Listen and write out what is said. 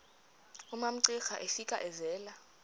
umamcira efika evela